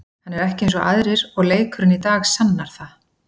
Hann er ekki eins og aðrir og leikurinn í dag sannar það.